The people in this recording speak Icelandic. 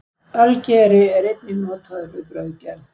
Ölgeri er einnig notaður við brauðgerð.